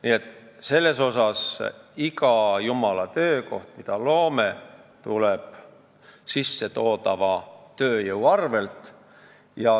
Nii et iga jumala töökoht, mille me loome, tuleb sissetoodava tööjõu arvel.